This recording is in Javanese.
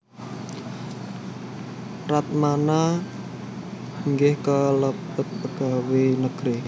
Ratmana inggih kalebet pegawai negeri